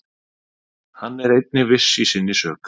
Hann er einnig viss í sinni sök.